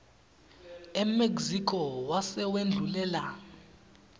emexico wase wendlulela